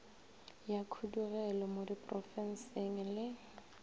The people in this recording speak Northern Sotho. ya khudugelo mo diprofenseng le